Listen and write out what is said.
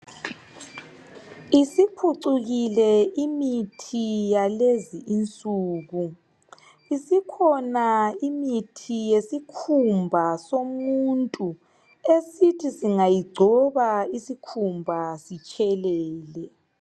Isiphucukile imithi yalezi insuku, isikhona imithi yesikhumba somuntu esithi singayigcoba isikhumba sitshelele.